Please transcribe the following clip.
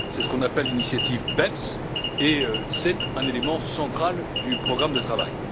C'est ce qu'on appelle l'initiative BEPS et c'est un élément central du programme de travail.